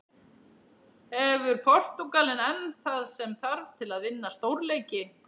Hefur Portúgalinn enn það sem þarf til að vinna stórleiki?